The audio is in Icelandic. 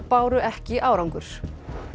báru ekki árangur